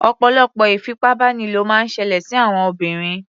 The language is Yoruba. Ọ̀pọ̀lọpọ̀ ìfipábánilò máa ń ṣẹlẹ̀ sí àwọn obìnrin.